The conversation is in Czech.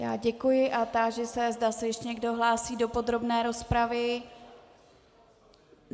Já děkuji a táži se, zda se ještě někdo hlásí do podrobné rozpravy.